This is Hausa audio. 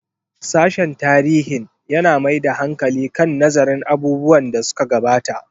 Sashen tarihin yana mai da hankali kan nazarin abubuwan da suka gabata.